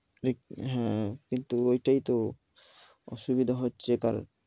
হ্যাঁ, কিন্তু ঐটাই তো অসুবিধা হচ্ছে। কারণ